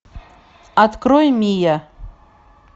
открой мия